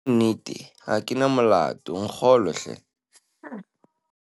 ke bua nnete ha ke na molato, nkgolwe hle